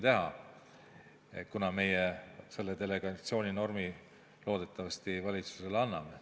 Loodetavasti me selle delegatsiooninormi valitsusele anname.